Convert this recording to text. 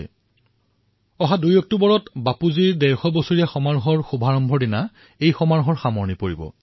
Mahatma Gandhi international sanitation Conventionৰ সমাপন ২ অক্টোবৰ ২০১৮ তাৰিখে বাপুৰ ১৫০তম জয়ন্তী সমাৰোহৰ শুভাৰম্ভৰ সৈতে আৰম্ভ হব